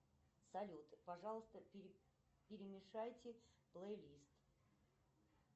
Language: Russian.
салют пожалуйста перемешайте плей лист